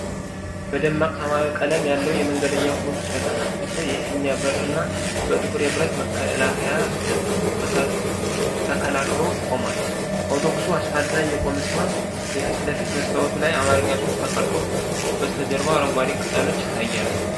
ደማቅ ሰማያዊ ቀለም ያለው የመንገደኛ አውቶቡስ በተከፈተ የፊት በርና በጥቁር የብረት መከላከያ ተከላክሎ ቆሟል። አውቶቡሱ አስፋልት ላይ የቆመ ሲሆን፤ የፊት ለፊት መስታወቱ ላይ በአማርኛ ጽሑፍ ተቀርጾ፣ በስተጀርባው አረንጓዴ ቅጠሎች ይታያሉ።